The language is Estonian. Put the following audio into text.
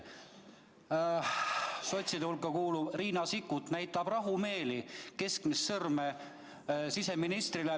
Sotside hulka kuuluv Riina Sikkut näitab rahumeeli keskmist sõrme siseministrile.